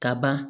Ka ban